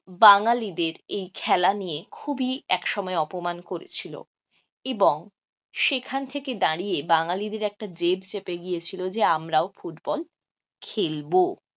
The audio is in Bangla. বাঙ্গালীদের এই খেলা নিয়ে খুবই একসময় অপমান করেছিল এবং সেখান থেকে দাঁড়িয়ে বাঙ্গালীদের একটা জেদ চেপে গিয়েছিল যে আমরাও ফুটবল খেলবো।